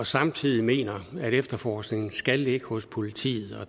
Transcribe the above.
samtidig mener at efterforskningen skal ligge hos politiet